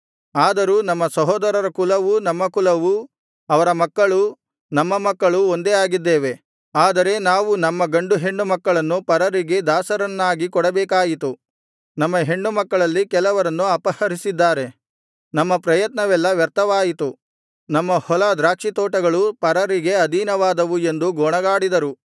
ಆದರೂ ನಮ್ಮ ಸಹೋದರರ ಕುಲವೂ ನಮ್ಮ ಕುಲವೂ ಅವರ ಮಕ್ಕಳೂ ನಮ್ಮ ಮಕ್ಕಳೂ ಒಂದೇ ಆಗಿದ್ದೇವೆ ಆದರೆ ನಾವು ನಮ್ಮ ಗಂಡು ಹೆಣ್ಣು ಮಕ್ಕಳನ್ನು ಪರರಿಗೆ ದಾಸರನ್ನಾಗಿ ಕೊಡಬೇಕಾಯಿತು ನಮ್ಮ ಹೆಣ್ಣು ಮಕ್ಕಳಲ್ಲಿ ಕೆಲವರನ್ನು ಅಪಹರಿಸಿದ್ದಾರೆ ನಮ್ಮ ಪ್ರಯತ್ನವೆಲ್ಲ ವ್ಯರ್ಥವಾಯಿತು ನಮ್ಮ ಹೊಲ ದ್ರಾಕ್ಷಿತೋಟಗಳು ಪರರಿಗೆ ಅಧೀನವಾದವು ಎಂದು ಗೊಣಗಾಡಿದರು